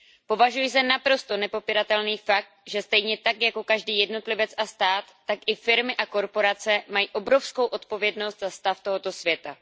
Považuji za naprosto nepopiratelný fakt, že stejně tak jako každý jednotlivec a stát, tak i firmy a korporace mají obrovskou odpovědnost za stav tohoto světa.